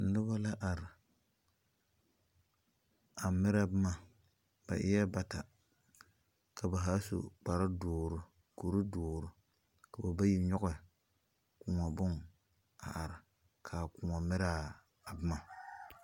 Noba la are a merɛ boma ba eɛ bata ka ba zaa su kparedoɔre kuridoɔre ka ba bayi nyɔge koɔ bonne a are ka a koɔ merɛ a boma.